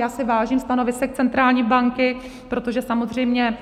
Já si vážím stanovisek centrální banky, protože samozřejmě